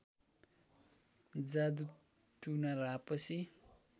जादु टुना र आपसी